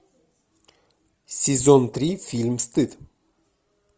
сезон три фильм стыд